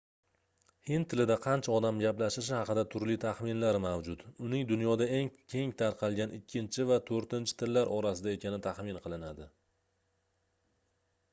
hind tilida qancha odam gaplashishi haqida turli taxminlar mavjud uning dunyoda eng keng tarqalgan ikkinchi va toʻrtinchi tillar orasida ekani taxmin qilinadi